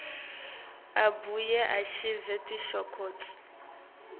abuye achaze tinshokutsi